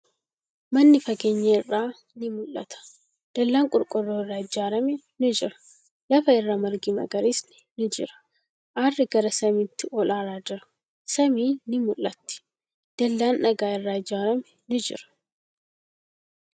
Manni fageenya irraa ni mul'ata. Dallaan qorqoorroo irraa ijaarame ni jira. Lafa irra margi magariisni ni jira. Aarri gara samiitti ol aaraa jira. Samiin ni mul'atti. Dallaan dhagaa irraa ijaarame ni jira.